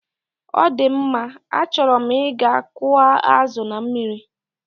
Ọdịmma, achọrọ m ịga kụọ azụ na mmiri.